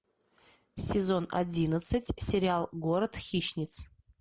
сезон одиннадцать сериал город хищниц